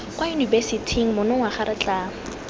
kwa yunibesithing monongwaga re tla